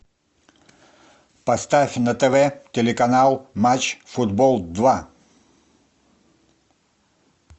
поставь на тв телеканал матч футбол два